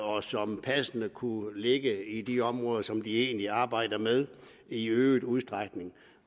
og som passende kunne ligge i de områder som de egentlig arbejder med i øget udstrækning